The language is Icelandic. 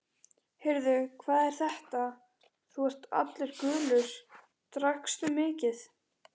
Heyrðu, hvað er þetta, þú ert allur gulur, drakkstu mikið?